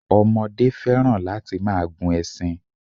Ọmọdé fẹ́ràn láti máa gun ẹṣin.